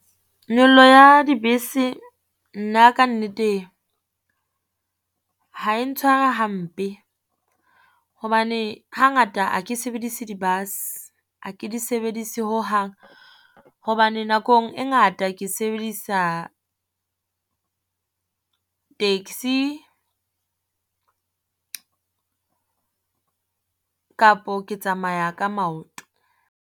Nyollo ya dibese nna kannete ha e ntshware hampe. Hobane hangata ha ke sebedise di-bus ha ke di sebedise hohang. Hobane nakong e ngata ke sebedisa taxi kapo ke tsamaya ka maoto.